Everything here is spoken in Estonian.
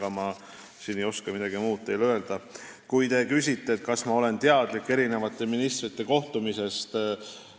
Ega ma siin teile midagi muud ei oska öelda, kui te küsite, kas ma olen teadlik eri ministrite kohtumistest.